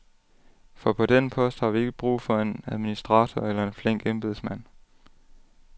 For på den post har vi ikke brug for en administrator eller en flink embedsmand.